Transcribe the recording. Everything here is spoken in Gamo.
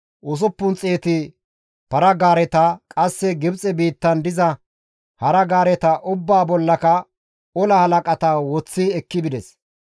Izi ubbaafe aadhdhiza 600 para-gaareta, qasse Gibxe biittan diza para-gaareta ubbaa bollaka ola halaqata woththi ekki bides.